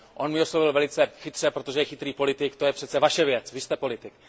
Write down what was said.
On mi odpověděl velice chytře, protože je chytrý politik To je přece Vaše věc, vy jste politik.